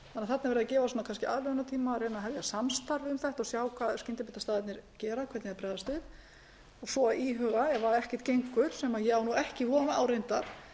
þarna er verið að gefa kannski aðlögunartíma og reyna að hefja samstarf um þetta sjá hvað skyndibitastaðirnir gera hvernig þeir bregðast við og svo íhuga ef ekkert gengur sem ég á ekki von á reyndar